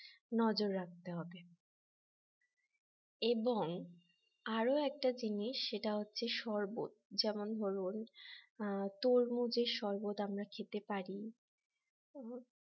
নজর রাখতে হবে এবং আরো একটা জিনিস সেটা হচ্ছে শরবত যেমন ধরুন তরমুজের শরবত আমরা খেতে পারি